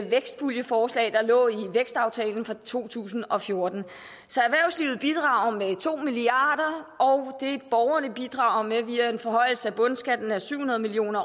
vækstpuljeforslag der lå i vækstaftalen fra to tusind og fjorten så erhvervslivet bidrager med to milliard kr og borgerne bidrager via en forhøjelse af bundskatten med syv hundrede million